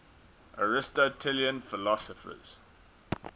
aristotelian philosophers